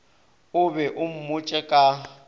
o be o mmotše ka